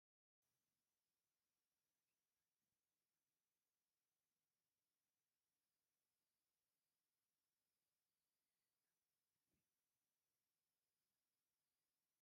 እዞም ዕሸላት ወጣታት ኩዕሶ እንዳተፃወቱ ንርኢ ኣለና። እዞም ኩዕሶ ዝፃወቱ ዘለዉ ወጣታት እዚኦም ኣብ ውድድር ሻምፒየን ኩዕሶ ንክሳተፉ ይዳለዉ ኣለዉ።